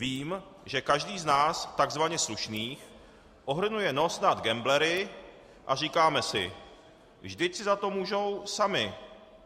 Vím, že každý z nás tzv. slušných ohrnuje nos nad gamblery a říkáme si: Vždyť si za to můžou sami.